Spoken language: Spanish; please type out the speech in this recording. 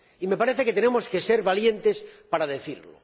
Me parece que tenemos que ser valientes para decirlo.